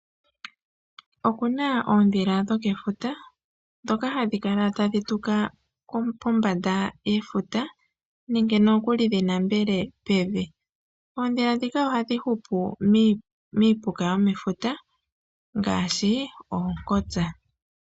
Okuna oondhila dhokefuta ndhoka hadhi kala tadhi tula pombanda yefuta nenge nokuli dhi nambele pevi. Oondhila ndhika ohadhi hupu miipuka yomefuta ngaashi oonkotsa